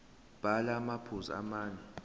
bhala amaphuzu amane